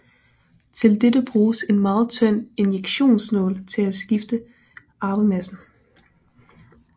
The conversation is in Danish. Til dette bruges en meget tynd injektionsnål til at skifte arvemassen